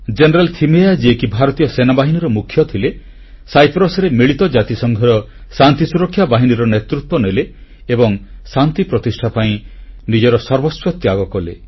general Thimayya ଯିଏକି ଭାରତୀୟ ସେନାବାହିନୀର ମୁଖ୍ୟ ଥିଲେ ସାଇପ୍ରସରେ ମିଳିତ ଜାତିସଂଘର ଶାନ୍ତି ସୁରକ୍ଷା ବାହିନୀର ନେତୃତ୍ୱ ନେଲେ ଏବଂ ଶାନ୍ତି ପ୍ରତିଷ୍ଠା ପାଇଁ ନିଜର ସର୍ବସ୍ୱ ତ୍ୟାଗ କଲେ